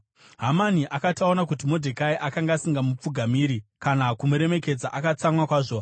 Hamani akati aona kuti Modhekai akanga asingamupfugamiri kana kumuremekedza, akatsamwa kwazvo.